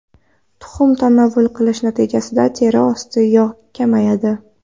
Tuxum tanovvul qilish natijasida teri ostidagi yog‘ kamayadi.